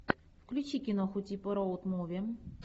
включи киноху типа роуд муви